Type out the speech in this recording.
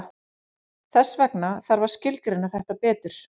Þess vegna þarf að skilgreina þetta betur.